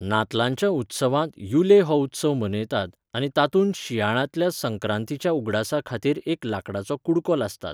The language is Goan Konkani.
नातलांच्या उत्सवांत युले हो उत्सव मनयतात आनी तातूंत शिंयाळ्यातल्या संक्रांतीच्या उगडासा खातीर एक लांकडाचो कुडको लासतात.